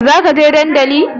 Zaka je dandali